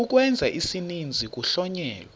ukwenza isininzi kuhlonyelwa